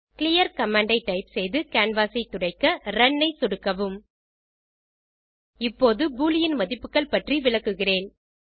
clear command ஐ type செய்து canvas ஐ துடைக்க ரன் ஐ சொடுக்கவும் இப்போது பூலியன் மதிப்புகள் பற்றி விளக்குகிறேன்